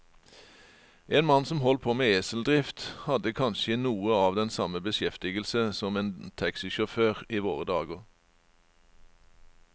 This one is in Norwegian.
En mann som holdt på med eseldrift, hadde kanskje noe av den samme beskjeftigelse som en taxisjåfør i våre dager.